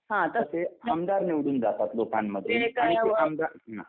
तसे आमदार निवडून जातात लोकांमधून आणि तो आमदार ना